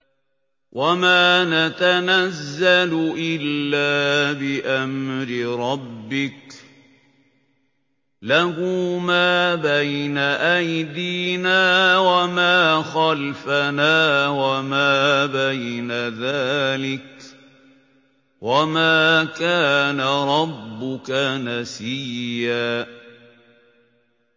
وَمَا نَتَنَزَّلُ إِلَّا بِأَمْرِ رَبِّكَ ۖ لَهُ مَا بَيْنَ أَيْدِينَا وَمَا خَلْفَنَا وَمَا بَيْنَ ذَٰلِكَ ۚ وَمَا كَانَ رَبُّكَ نَسِيًّا